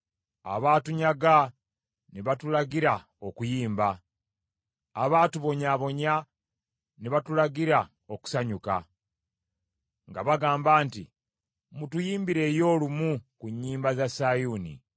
Abaatunyaga ne batulagira okuyimba, abaatubonyaabonya ne batulagira okusanyuka; nga bagamba nti, “Mutuyimbireyo lumu ku nnyimba za Sayuuni.”